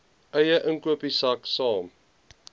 eie inkopiesak saam